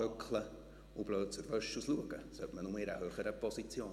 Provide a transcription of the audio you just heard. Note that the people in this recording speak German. Dumm dasitzen und blöd aus der Wäsche gucken, sollte man nur in einer höheren Position.